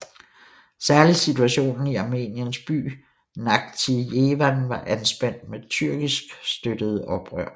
Særlig situationen i Armeniens by Nakhitjevan var anspændt med tyrkisk støttede oprørere